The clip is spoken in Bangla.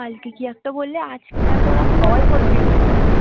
কালকে কি একটা বললে আজকে কি আর